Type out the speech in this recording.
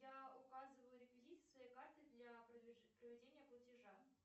я указываю реквизиты своей карты для проведения платежа